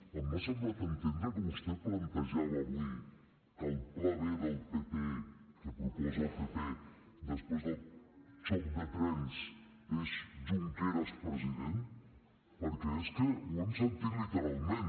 m’ha semblat entendre que vostè plantejava avui que el pla b del pp que proposa el pp després del xoc de trens és junqueras president perquè és que ho hem sentit literalment